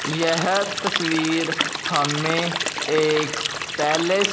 यह तस्वीर हमें एक पैलेस --